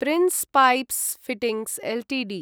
prince Pipes Fittings Ltd